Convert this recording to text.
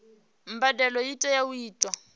mbadelo i tea u itwa